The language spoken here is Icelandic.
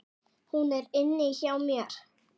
Hún er inni hjá mér.